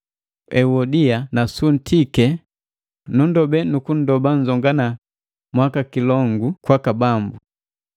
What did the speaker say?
Euodia na suntike, nunndobe nukundoba nnzongana mwakikilongu kwaka Bambu.